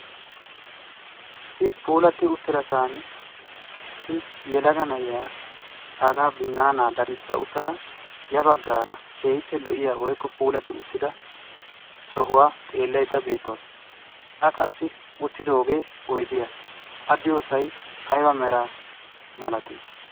Issi puulati uttidassan issi yelaga na'iyaa baaga binanna daddiisa uttada yabaggara keehippe lo''iyaa woykko sohuwa xeelaydda beettawus. a qassi uittidooge oydiyaa a diyoosay aybba mera malati?